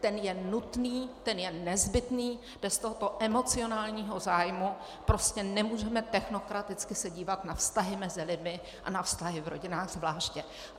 Ten je nutný, ten je nezbytný, bez tohoto emocionálního zájmu prostě nemůžeme technokraticky se dívat na vztahy mezi lidmi, a na vztahy v rodinách zvláště.